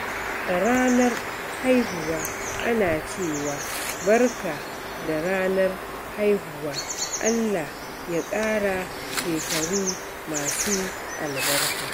A ranar haihuwa, ana cewa "Barka da ranar haihuwa, Allah ya ƙara shekaru masu albarka."